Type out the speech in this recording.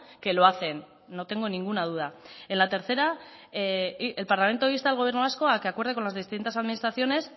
que lo hacen no tengo ninguna duda en la tercera el parlamento insta al gobierno vasco a que acuerde con las distintas administraciones